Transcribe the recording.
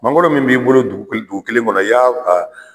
Mankoro mun b'i bolo dugu kelen kɔnɔ y'a a